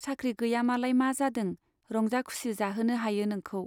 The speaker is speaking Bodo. साख्रि गैया मालाय मा जादों, रंजा खुसि जाहोनो हायो नोंखौ।